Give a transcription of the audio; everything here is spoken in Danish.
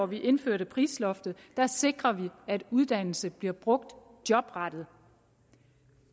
vi indførte prisloftet sikrede vi at uddannelse bliver brugt jobrettet